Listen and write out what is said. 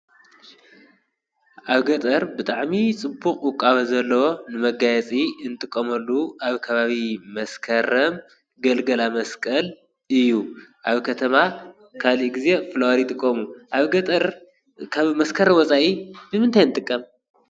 ኣብ ገጠር ብጥዕሚ ጽቡቕ ቛብ ዘለዎ ንመጋያፂ እንትቆመሉ ኣብ ካባቢ መስከረም ገልገላ መስቀል እዩ ኣብ ከተማ ካሊእ ጊዜ ፍልሪ ጥቆሙ ኣብ ገጠር ካብ መስከረ ወፃይ ብምንታይ እንጥቀም